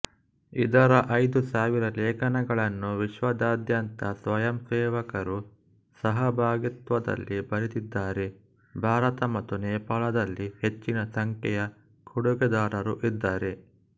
ಇದರ ಐದು ಸಾವಿರ ಲೇಖನಗಳನ್ನು ವಿಶ್ವದಾದ್ಯಂತದ ಸ್ವಯಂಸೇವಕರು ಸಹಭಾಗಿತ್ವದಲ್ಲಿ ಬರೆದಿದ್ದಾರೆ ಭಾರತ ಮತ್ತು ನೇಪಾಳದಲ್ಲಿ ಹೆಚ್ಚಿನ ಸಂಖ್ಯೆಯ ಕೊಡುಗೆದಾರರು ಇದ್ದಾರೆ